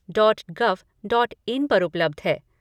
Dot gov dot in पर उपलब्ध है।